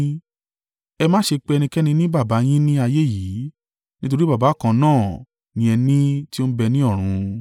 Ẹ má ṣe pe ẹnikẹ́ni ní baba yín ni ayé yìí, nítorí baba kan náà ni ẹ ní tí ó ń bẹ ní ọ̀run.